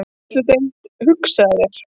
Fræðsludeild, hugsaðu þér!